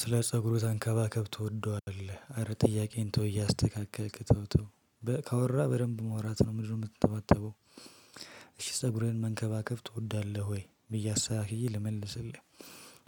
ስለ ፀጉሩ ተንከባከብ ትወደዋለህ አረ ጥያቄውን ተው እያስተካከልክ ተውተው ካወራ በደንብ ማውራት ነው ምንድነው የምትንተባተበው? እሺ ፀጉርህ መንከባከብ ትወዳለህ ወይ ብዬ አስተካክዬ ልመልስልህ።